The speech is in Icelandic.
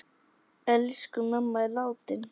Elsku mamma er látin.